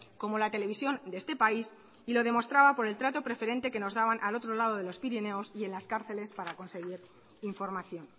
como la televisión de este país y lo demostraba por el trato preferente que nos daban al otro lado de los pirineos y en las cárceles para conseguir información